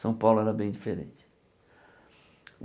São Paulo era bem diferente.